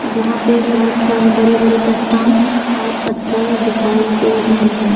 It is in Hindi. जहां पे बहुत सारे बड़े बड़े चट्टान और पत्थर दिखाई दे रहे हैं।